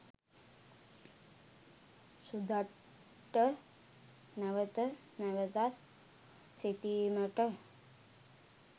සුදත්ට නැවත නැවතත් සිතීමට